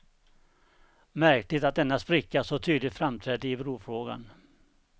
Märkligt att denna spricka så tydligt framträdde i brofrågan.